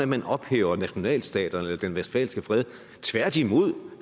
man ophæver nationalstaterne eller den westfalske fred tværtimod